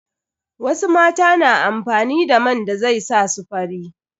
Wasu mata na amfani da man da zai sa su fari.